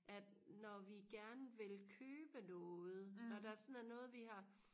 at når vi gerne vil købe noget og der sådan er noget vi har